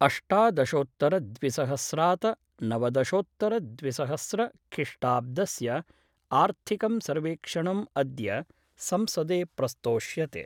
अष्टादशोत्तरद्विसहस्रात नवदशोत्तर द्विसहस्रखिष्टाब्दस्य आर्थिकं सर्वेक्षणम् अद्य संसदे प्रस्तोष्यते।